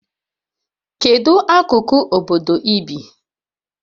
Kedu akụkụ obodo ị bi?